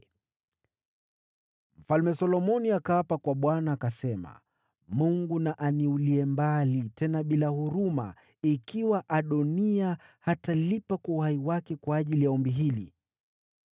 Mfalme Solomoni akaapa kwa Bwana , akasema: “Mungu na aniulie mbali, tena bila huruma, ikiwa Adoniya hatalipa kwa uhai wake kwa ajili ya ombi hili!